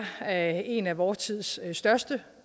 er en af vor tids største